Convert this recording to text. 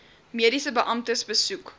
mediese beamptes besoek